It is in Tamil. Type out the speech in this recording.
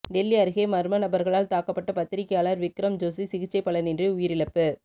டெல்லி அருகே மர்ம நபர்களால் தாக்கப்பட்ட பத்திரிகையாளர் விக்ரம் ஜோஷி சிகிச்சை பலனின்றி உயிரிழப்பு